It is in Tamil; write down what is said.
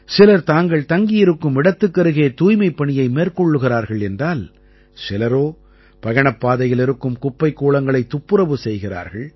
சிலர் தாங்கள் தங்கியிருக்கும் இடத்துக்கருகே தூய்மைப் பணியை மேற்கொள்கிறார்கள் என்றால் சிலரோ பயணப்பாதையில் இருக்கும் குப்பைக்கூளங்களைத் துப்புரவு செய்கிறார்கள்